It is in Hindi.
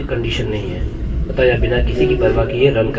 हम इसे 1 से बढ़ा रहे हैं जोकि 2 के बराबर होगा